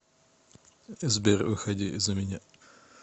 сбер выходи за меня